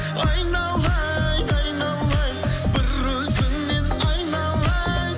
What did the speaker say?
айналайын айналайын бір өзіңнен айналайын